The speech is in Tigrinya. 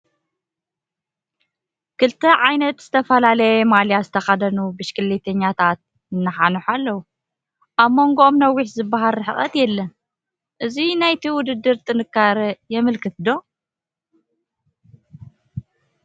ክልተ ዓይነት ዝተፈላለየ ማልያ ዝተኸደኑ ብሽክሌተኛታት ይነሓንሑ ኣለዉ፡፡ ኣብ መንጐኦም ነዊሕ ዝበሃል ርሕቐት የለን፡፡ እዚ ናይቲ ውድድር ጥንካረ የመልክት ዶ?